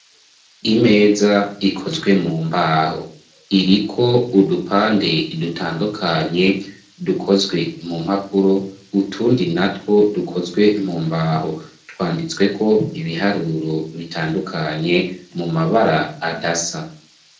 Imeza ikozwe mu mbaho, iriko udupande dutandukanye dukozwe mu mpapuro, utundi natwo dukozwe mu mbaho twanditsweko ibiharuro bitandukanye mu mabara adasa.